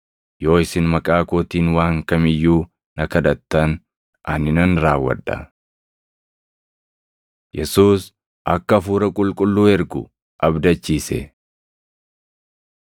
Yoo isin maqaa kootiin waan kam iyyuu na kadhattan ani nan raawwadha. Yesuus Akka Hafuura Qulqulluu Erguu Abdachiise